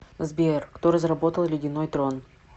сбер кто разработал ледяной трон